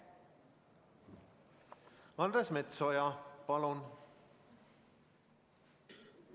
Andres Metsoja, palun!